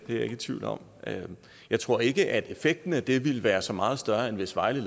jeg ikke i tvivl om jeg tror ikke at effekten af det ikke vil være så meget større end hvis vejle